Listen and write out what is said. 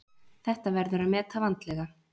Þetta verður að meta vandlega.